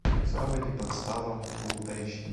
заводи подстава фул эйч ди